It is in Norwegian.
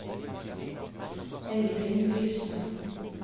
Eirin Lystad